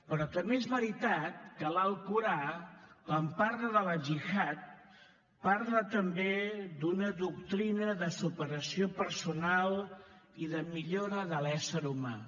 però també és veritat que l’alcorà quan parla de la gihad parla també d’una doctrina de superació personal i de millora de l’ésser humà